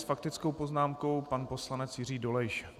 S faktickou poznámkou pan poslanec Jiří Dolejš.